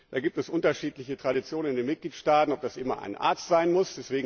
Da gibt es unterschiedliche Traditionen in den Mitgliedstaaten, ob das immer ein Arzt sein muss.